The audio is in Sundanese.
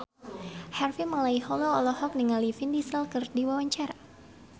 Harvey Malaiholo olohok ningali Vin Diesel keur diwawancara